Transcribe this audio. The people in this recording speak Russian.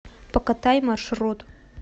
покатай маршрут